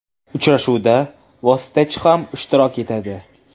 Uchrashuvda vositachi ham ishtirok etadi.